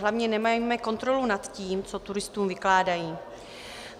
Hlavně nemáme kontrolu nad tím, co turistům vykládají.